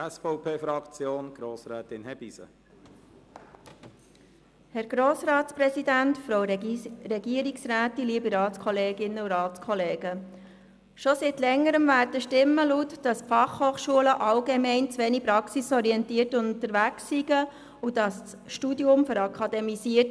Seit Längerem werden Stimmen laut, die sagen, die FH seien allgemein zu wenig praxisorientiert unterwegs und die Studiengänge würden akademisiert.